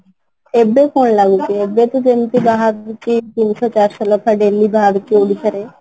ଏବେ ଲାଗୁଛି ଏବେ ଯେମିତି ବାହାରୁଛି ତିନି ଶହ ଚାରିଶହ ଲେଖାଁ daily ବାହାରୁଛି ଓଡ଼ିଶାରେ